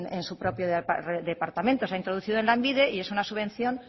en su propio departamento se ha introducido en lanbide y es una subvención